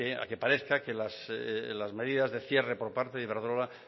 a que parezca que las medidas de cierre por parte del iberdrola